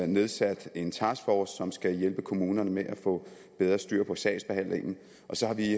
nedsat en taskforce som skal hjælpe kommunerne med at få bedre styr på sagsbehandlingen og så har vi